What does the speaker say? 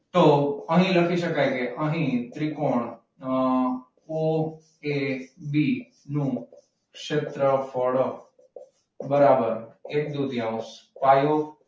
તો અહીં લખી શકાય કે અહીં ત્રિકોણ ઓ એ બી નું ક્ષેત્રફળ બરાબર એક દુત્યૌંશ પાયો,